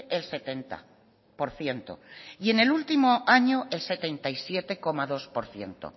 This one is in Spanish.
el setenta por ciento y en el último año el setenta y siete coma dos por ciento